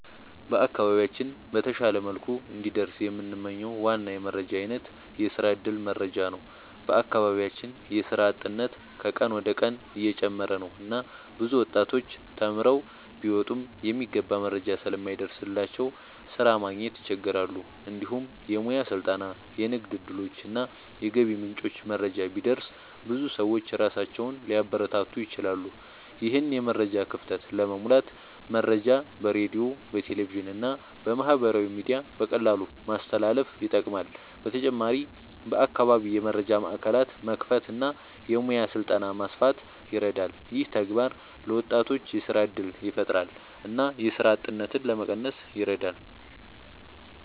በአካባቢያችን በተሻለ መልኩ እንዲደርስ የምንመኝው ዋና የመረጃ አይነት የስራ እድል መረጃ ነው። በአካባቢያችን የስራ አጥነት ከቀን ወደ ቀን እየጨመረ ነው እና ብዙ ወጣቶች ተማርተው ቢወጡም የሚገባ መረጃ ስለማይደርስላቸው ስራ ማግኘት ይቸገራሉ። እንዲሁም የሙያ ስልጠና፣ የንግድ እድሎች እና የገቢ ምንጮች መረጃ ቢደርስ ብዙ ሰዎች ራሳቸውን ሊያበረታቱ ይችላሉ። ይህን የመረጃ ክፍተት ለመሙላት መረጃ በሬዲዮ፣ በቴሌቪዥን እና በማህበራዊ ሚዲያ በቀላሉ ማስተላለፍ ይጠቅማል። በተጨማሪም በአካባቢ የመረጃ ማዕከላት መክፈት እና የሙያ ስልጠና ማስፋት ይረዳል። ይህ ተግባር ለወጣቶች የስራ እድል ያፈጥራል እና የስራ አጥነትን ለመቀነስ ይረዳል።